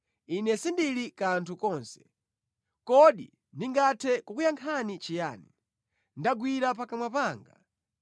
“Ine sindili kanthu konse, kodi ndingathe kukuyankhani chiyani? Ndagwira pakamwa panga.